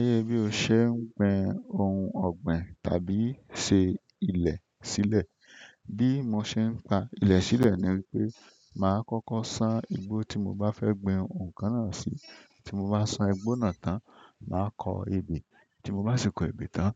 Gègè bí o ṣe ń gbin ohun ọ̀gbìn tàbí ṣe ilẹ̀ sílẹ̀, bí mo ṣe ń pa ilẹ̀ sílẹ̀ ni o màá kọ́kọ́ san igbó tí mo bá fẹ́ gbi ǹkan náà sí. Tí mo bá san igbó náà tán, màá kọ ebè. Tí mo bá sì ti kọ́ ebè tán,